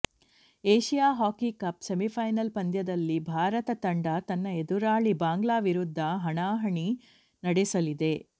Asia hockey cup semifinal ಪಂದ್ಯದಲ್ಲಿ ಭಾರತ ತಂಡ ತನ್ನ ಎದುರಾಳಿ ಬಾಂಗ್ಲಾ ವಿರುದ್ಧ ಹಣಾಹಣಿ ನಡೆಸಲಿದೆ